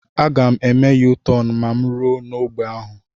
Aga m eme Yu-tọn ma mụ rue n'ogbe ahụ